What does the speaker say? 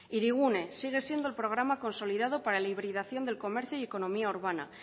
hirigune sigue siendo el programa consolidado para la hibridación del comercio y economía urbana